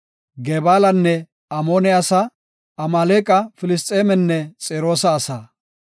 Gebaalanne Amoone asaa, Amaaleqa, Filisxeemenne Xiroosa asaa.